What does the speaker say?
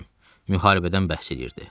Müharibədən bəhs eləyirdi.